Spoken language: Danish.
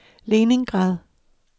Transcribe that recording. Leningrad